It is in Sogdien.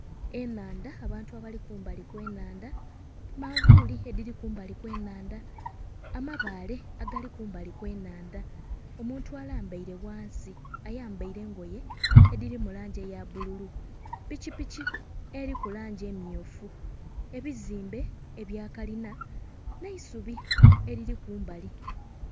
Enhandha abantu abali kumbali kwe nhandha, manvuli edhiri kumbali kwe nhandha, amabaale agali kumbali kwe nhandha. Omuntu alambaire ghansi ayambaire engoye edhiri mu langi eya bbululu, pikipiki eriku langi emmyufu ebizimbe ebya kalina nhe eisubi eriri kumbali.